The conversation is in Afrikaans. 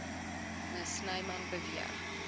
me snyman beweer